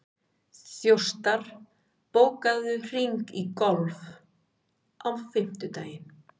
Þjóstar, bókaðu hring í golf á fimmtudaginn.